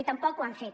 i tampoc ho han fet